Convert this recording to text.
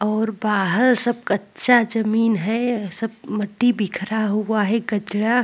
और बाहर सब कच्चा जमीन है सब मिट्टी बिखरा हुआ है कचरा --